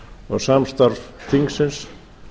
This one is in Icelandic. og samstarf þingsins